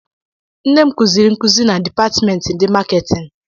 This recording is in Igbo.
Nne m kụziiri nkuzi na dipatịmentị ndị maketịn.